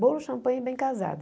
Bolo, champanhe e bem casado.